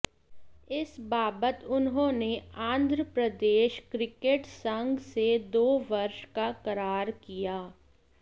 इस बाबत उन्होंने आंध्र प्रदेश क्रिकेट संघ से दो वर्ष का करार किया